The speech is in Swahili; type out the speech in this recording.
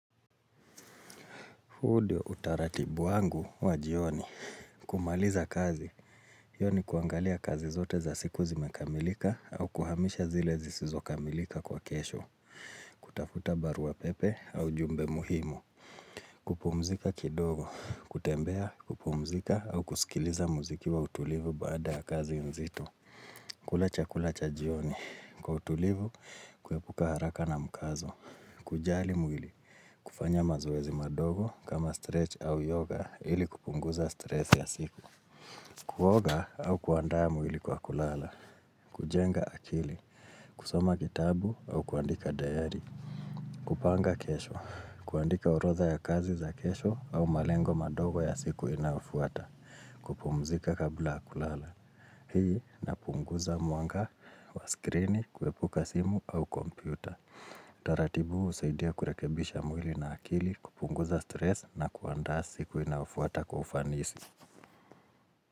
Huu ndiyo utaratibu wangu wa jioni. Kumaliza kazi. Hiyo ni kuangalia kazi zote za siku zimekamilika au kuhamisha zile zisizokamilika kwa kesho. Kutafuta barua pepe au jumbe muhimu. Kupumzika kidogo. Kutembea, kupumzika au kusikiliza muziki wa utulivu baada ya kazi mzito. Kula chakula cha jioni. Kwa utulivu, kuepuka haraka na mukazo. Kujali mwili. Kufanya mazoezi madogo kama stretch au yoga ili kupunguza stress ya siku Kuoga au kuandaa mwili kwa kulala kujenga akili, kusoma kitabu au kuandika dayari kupanga kesho, kuandika horodha ya kazi za kesho au malengo madogo ya siku inayofuata kupumzika kabla ya kulala Hii na punguza mwanga wa screen, kuepuka simu au kompyuta taratibu husaidia kurekebisha mwili na akili kupunguza stress na kuandaa siku inayofuata kwa ufanisi.